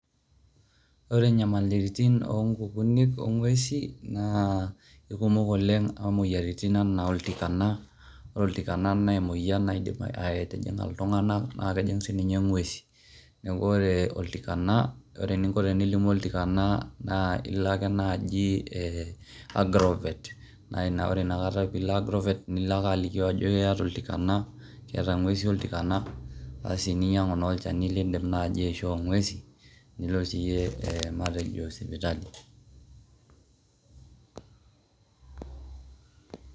ore enyamalitin onkukuni ,ongwesin na ikumok oleng, amu imoyiaritin ena oltikana ore oltikana na emoyian naidim atjinga iltungana na kejing sininye ngwesi, niaku ore oltikana ore eningo tenilimu oltikana na ilo ake naji agrovet, na ina ore nakata pilo agrovet nilo ake alikio ajo iyata oltikana keeta ingwesin oltikana, asi ninyiangu naji olchani lindim aisho ngwesin, nilo siye matejo sipitali.